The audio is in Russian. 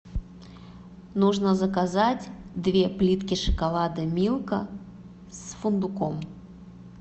нужно заказать две плитки шоколада милка с фундуком